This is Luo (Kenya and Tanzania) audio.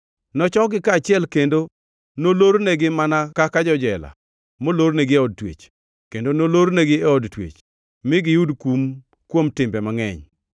Nochokgi kaachiel kendo nolornegi mana kaka jo-jela molornegi e od twech kendo nolornegi e od twech, mi giyud kum kuom kinde mangʼeny.